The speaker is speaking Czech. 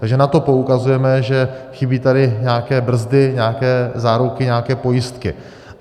Takže na to poukazujeme, že chybí tady nějaké brzdy, nějaké záruky, nějaké pojistky.